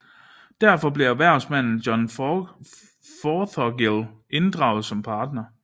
Derfor blev erhvervsmanden John Fothergill inddraget som partner